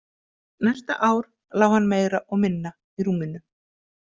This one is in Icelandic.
Næsta ár lá hann meira og minna í rúminu.